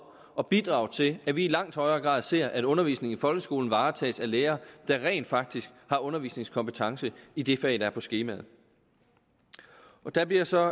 at bidrage til at vi i langt højere grad ser at undervisningen i folkeskolen varetages af lærere der rent faktisk har undervisningskompetence i det fag der er på skemaet der bliver så